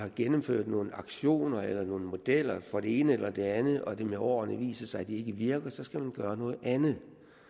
har gennemført nogle aktioner eller nogle modeller for det ene eller det andet og det med årene viser sig at de ikke virker så skal man gøre noget andet